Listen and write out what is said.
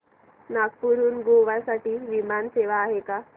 नागपूर हून गोव्या साठी विमान सेवा आहे का